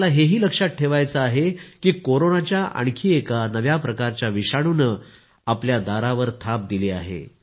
आपल्याला हे ही लक्षात ठेवायचे आहे की कोरोनाच्या आणखी एका नव्या प्रकारच्या विषाणूने आपल्या दारावर थाप दिली आहे